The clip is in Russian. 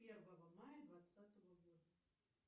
первого мая двадцатого года